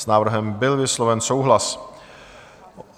S návrhem byl vysloven souhlas.